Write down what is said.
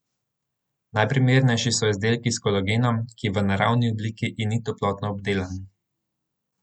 Najprimernejši so izdelki s kolagenom, ki je v naravni obliki in ni toplotno obdelan.